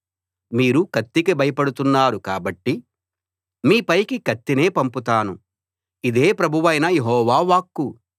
మీరు కత్తికి భయపడుతున్నారు కాబట్టి మీ పైకి కత్తినే పంపుతాను ఇదే ప్రభువైన యెహోవా వాక్కు